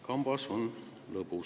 Kambas on lõbusam.